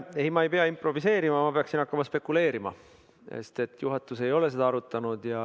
Ei, ma ei pea improviseerima, ma peaksin hakkama spekuleerima, sest juhatus ei ole seda arutanud.